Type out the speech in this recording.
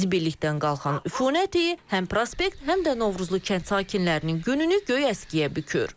Zibillikdən qalxan üfunət iyi həm prospekt, həm də Novruzlu kənd sakinlərinin gününü göy əskiyə bükür.